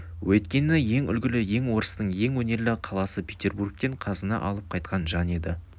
өйткені ең үлгілі ел орыстың ең өнерлі қаласы петербургтен қазына алып қайтқан жан еді